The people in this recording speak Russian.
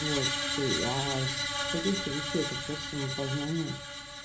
вот ты с таких то вещей это просто самопознание